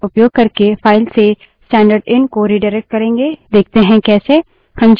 हम <left angle bracket operator का उपयोग करके file से स्टैन्डर्डएन stdin को redirect करेंगे देखते है कैसे